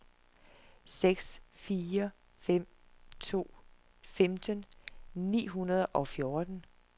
seks fire fem to femten ni hundrede og fjorten